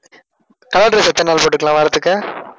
color dress எத்தன நாள் போட்டுக்கலாம் வாரத்துக்கு?